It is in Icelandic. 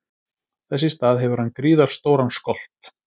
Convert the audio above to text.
Þess í stað hefur hann gríðarstóran skolt.